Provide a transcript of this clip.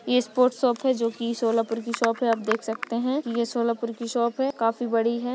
ये sport shop है। जो कि सोलापुर कि शॉप है। आप देख सखते है। ये सोलापुर कि शॉप है। काफी बड़ी है।